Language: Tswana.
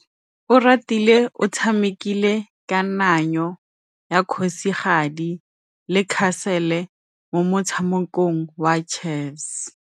Oratile o tshamekile kananyô ya kgosigadi le khasêlê mo motshamekong wa chess.